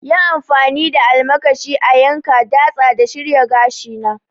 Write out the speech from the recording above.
Yi amfani da almakashi a yanka, datsa da shirya gashina!